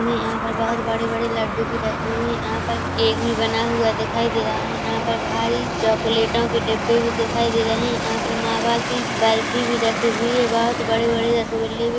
हमें यहाँ पर बोहोत बड़े -बड़े लड्डू भी रखे हुऐ यहाँ पर केक भी बना हुआ दिखाई दे रहा है यहाँ पर भारी चॉकलेटों के डिब्बे भी दिखाई दे रहे है यहाँ पर मावा की बर्फी भी रखी हुई है बहुत बड़े- बड़े रसगुल्ले भी --